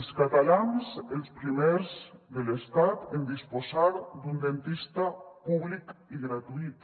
els catalans els primers de l’estat en disposar d’un dentista públic i gratuït